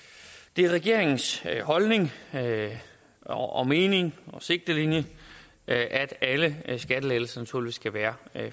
det er regeringens holdning og og mening og sigtelinje at alle skattelettelser naturligvis skal være